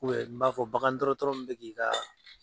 n b'a fɔ bagan dɔrɔtɔrɔ min bɛ k'i ka